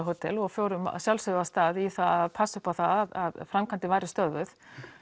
hótel og fórum að sjálfsögðu af stað í það að passa upp á það að framkvæmdin væri stöðvuð